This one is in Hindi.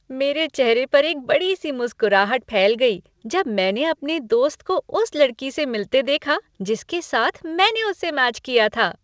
मेरे चेहरे पर एक बड़ी सी मुस्कराहट फैल गई जब मैंने अपने दोस्त को उस लड़की से मिलते देखा जिसके साथ मैंने उसे मैच किया था।